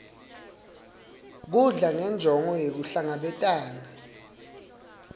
kudla ngenjongo yekuhlangabetana